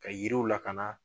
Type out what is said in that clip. Ka yiriw lakana